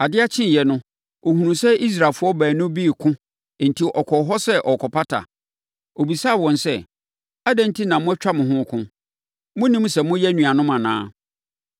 Adeɛ kyeeɛ no, ɔhunuu sɛ Israelfoɔ baanu bi reko enti ɔkɔɔ hɔ sɛ ɔrekɔpata. Ɔbisaa wɔn sɛ, ‘Adɛn enti na moatwa mo ho reko? Monnim sɛ moyɛ anuanom anaa?’